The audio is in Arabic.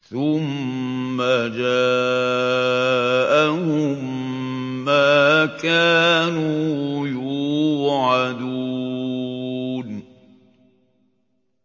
ثُمَّ جَاءَهُم مَّا كَانُوا يُوعَدُونَ